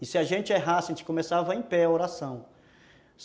E se a gente errasse, a gente começava em pé a oração.